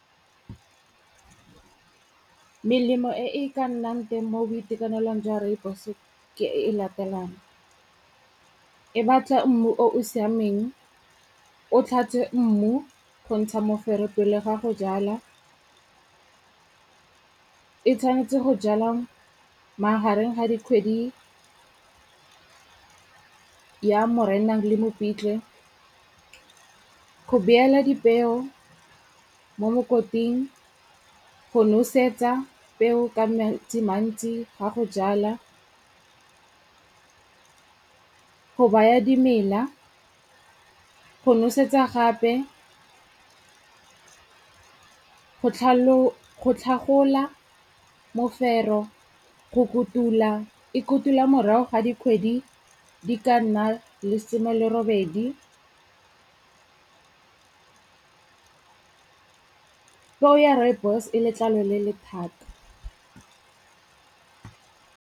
Melemo e e ka nnang teng mo boitekanelong jwa rooibos ke e e latelang. E batla mmu o o siameng, o tlhatswe mmu go ntsha mofero pele ga go jala, e tshwanetse go jala magareng ga dikgwedi ya Moranang le Mopitlwe, go beela dipeo mo mokoting, go nosetsa peo ka metsi mantsi a go jala, go baya dimela, go nosetsa gape, go tlhagola mofero, go kotula. E kotula morago ga dikgwedi di ka nna lesome le robedi. Peo ya rooibos e letlalo le le thata.